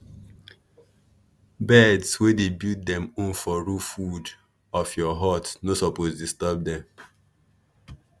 birds wey dey build dem own for roof wood of your hut no suppose disturb dem.